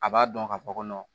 A b'a dɔn ka fɔ ko